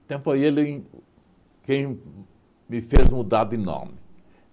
Então foi ele quem me fez mudar de nome.